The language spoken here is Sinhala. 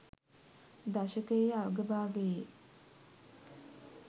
දශකයේ අගභාගයේ